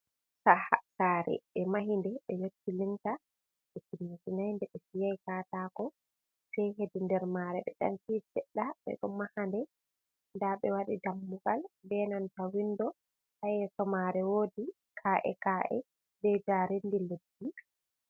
Saare ɓe mahi nde ɓe yotti "linta" ɓe timminay nde ɓe fiyaay kataako sey heedi nder maare ɓe ɗan fii seɗɗa, ɓe ɗo maha nde. Ndaa ɓe waɗi dammugal bee nanta "windo" ha yeeso maare wodi kaa'e-kaa'e bee jaareendi leddi.